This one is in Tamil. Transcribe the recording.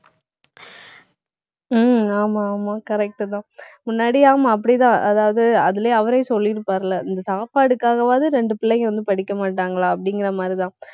உம் ஆமா, ஆமா correct தான் முன்னாடி ஆமா, அப்படித்தான். அதாவது அதிலேயே அவரே சொல்லியிருப்பாருல்லே இந்த சாப்பாடுக்காகவாது ரெண்டு பிள்ளைங்க வந்து, படிக்க மாட்டாங்களா அப்படிங்கிற மாதிரிதான்